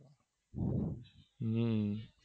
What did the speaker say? હમ